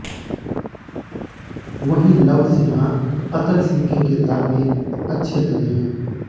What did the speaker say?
वहीं लव सिन्हा अतर सिंह के किरदार में अच्छे लगे हैं